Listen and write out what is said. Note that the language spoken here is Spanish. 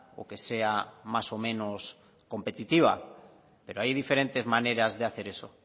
o que sea más o menos competitiva pero hay diferentes maneras de hacer eso